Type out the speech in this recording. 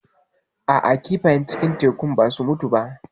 A'a kifayen cikin tekun ba su mutu ba.